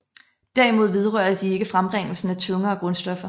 Derimod vedrørte de ikke frembringelsen af tungere grundstoffer